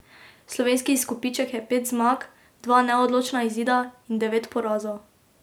Slovenski izkupiček je pet zmag, dva neodločena izida in devet porazov.